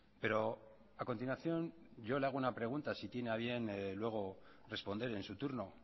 pero a continuación yo le hago una pregunta si tiene a bien luego responder en su turno